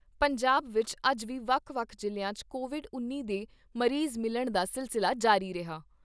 ਪੰਜਾਬ ਵਿਚ ਅੱਜ ਵੀ ਵੱਖ ਵੱਖ ਜ਼ਿਲ੍ਹਿਆਂ 'ਚ ਕੋਵਿਡ ਉੱਨੀ ਦੇ ਮਰੀਜ਼ ਮਿਲਣ ਦਾ ਸਿਲਸਿਲਾ ਜਾਰੀ ਰਿਹਾ।